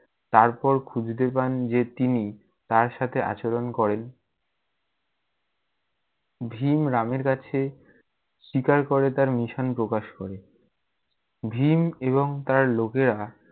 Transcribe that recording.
তারপর খুঁজতে পান যে তিনি, তার সাথে আচরণ করেন, ভীম রামের কাছে, স্বীকার করে তার mission প্রকাশ করে। ভীম এবং তার লোকেরা-